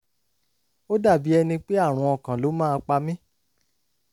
ó dàbí ẹni pé àrùn ọkàn ló máa pa mí